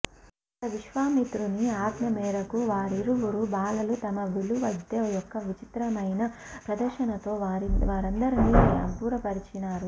అక్కడ విశ్వామిత్రుని ఆజ్ఞమేరకు వారిరువురు బాలలు తమ విలువిద్య యొక్క చిత్రమైన ప్రదర్శనముతో వారందరిని అబ్బురపరిచినారు